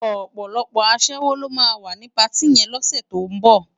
Òpòlòpò aṣèwó ló má wá ni páti yèn lòsè tó n bò